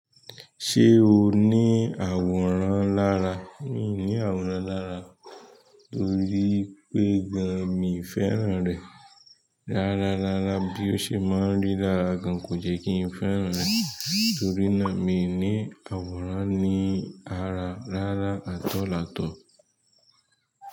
Ṣé o ní àwòrán lára? Mi ní àwòrán lára, torí pé gan-an mi ò fẹ́ràn rẹ̀. Rárá, rárára. Bí ó ṣe má ń rí lára gan, kò jẹ́ kí n fẹ́ràn rẹ̀. Torí náà, mi ò ní àwòrán ní ara rárá, àt all at all.